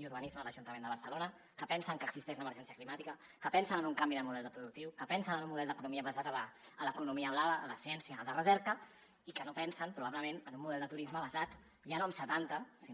i urbanisme a l’ajuntament de barcelona que pensen que existeix l’emergència climàtica que pensen en un canvi de model productiu que pensen en un model d’economia basat en l’economia blava la ciència i la recerca i que no pensen probablement en un model de turisme basat ja no en setanta sinó